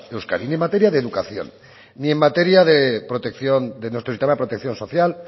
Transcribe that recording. euskadi ni en materia de educación ni en materia de nuestro sistema de protección social